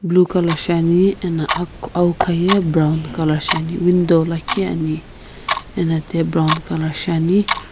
blue colour shiane ano aowkha ye brown colour shiane window lakhi ane ano thiye brown colour shiane.